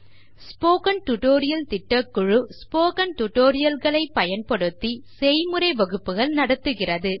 spoken tutorial திட்ட குழு spoken tutorials ஐ வைத்து செய்முறை வகுப்புகள் நடத்துகிறது